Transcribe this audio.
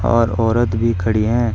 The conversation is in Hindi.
और औरत भी खड़ी है।